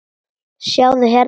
Sjáðu hérna.